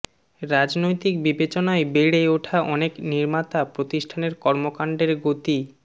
রাজনৈতিক বিবেচনায় বেড়ে ওঠা অনেক নির্মাতা প্রতিষ্ঠানের কর্মকাণ্ডের গতি